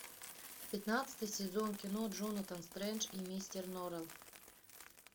пятнадцатый сезон кино джонатан стрендж и мистер норрелл